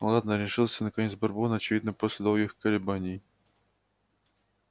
ладно решился наконец бурбон очевидно после долгих колебаний